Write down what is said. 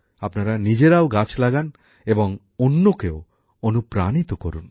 আপনারা নিজেরাও গাছ লাগান এবং অন্যকেও অনুপ্রাণিত করুন